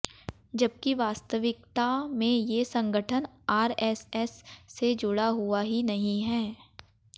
जबकि वास्तविकता में ये संगठन आरएसएस से जुड़ा हुआ ही नहीं है